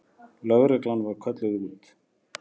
Lögreglan var kölluð út.